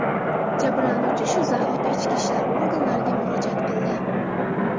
Jabrlanuvchi shu zahoti ichki ishlar oganlariga murojaat qildi.